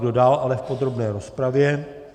Kdo dál ale v podrobné rozpravě?